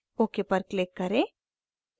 ok पर click करें